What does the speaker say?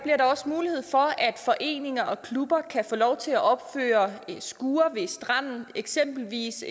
også mulighed for at foreninger og klubber kan få lov til at opføre skure ved stranden det eksempelvis